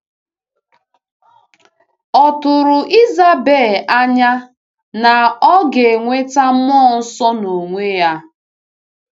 Ò tụrụ Isabel anya na ọ ga-enweta Mmụọ Nsọ n’onwe ya?